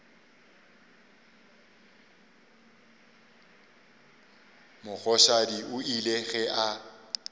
mogoshadi o ile ge a